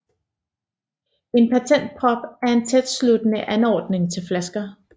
En patentprop er en tætsluttende anordning til flasker